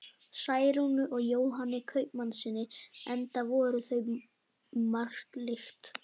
Særúnu og Jóhanni kaupmannssyni, enda voru þau um margt lík.